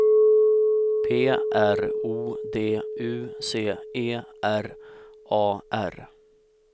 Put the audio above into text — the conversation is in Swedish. P R O D U C E R A R